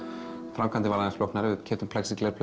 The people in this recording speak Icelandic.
framkvæmdin var aðeins flóknari við keyptum